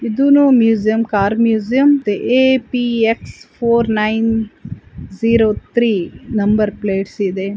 ಇದುನು museum car museum APX four nine zero three number plots ಇದೆ